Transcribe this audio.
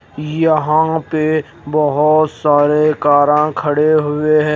यहां पे बहोत सारे काराँ खड़े हुए हैं।